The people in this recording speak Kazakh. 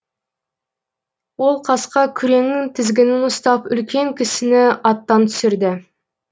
ол қасқа күреңнің тізгінін ұстап үлкен кісіні аттан түсірді